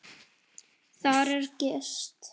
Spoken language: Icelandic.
Þar er gist.